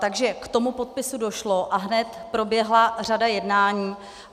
Takže k tomu podpisu došlo a hned proběhla řada jednání.